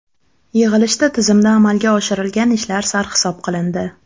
Yig‘ilishda tizimda amalga oshirilgan ishlar sarhisob qilindi.